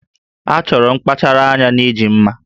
A chọrọ nkpachara anya na iji mma